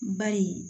Bari